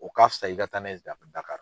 O k'a fisa i ka taa n'a ye